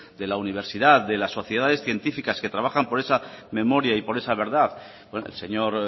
de la universidad de las sociedades científicas que trabajan por esa memoria y por esa verdad el señor